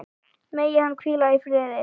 Megir hann hvíla í friði.